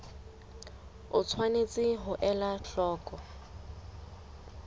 o tshwanetse ho ela hloko